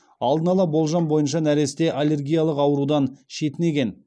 алдын ала болжам бойынша нәресте аллергиялық аурудан шетінеген